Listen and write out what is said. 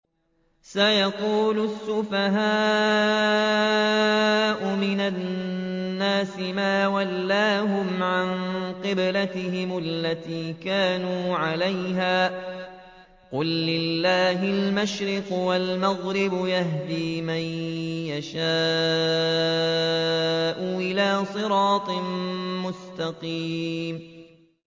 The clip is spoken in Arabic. ۞ سَيَقُولُ السُّفَهَاءُ مِنَ النَّاسِ مَا وَلَّاهُمْ عَن قِبْلَتِهِمُ الَّتِي كَانُوا عَلَيْهَا ۚ قُل لِّلَّهِ الْمَشْرِقُ وَالْمَغْرِبُ ۚ يَهْدِي مَن يَشَاءُ إِلَىٰ صِرَاطٍ مُّسْتَقِيمٍ